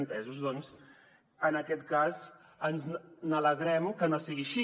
entesos doncs en aquest cas ens alegrem que no sigui així